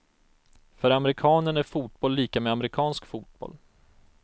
För amerikanen är fotboll lika med amerikansk fotboll.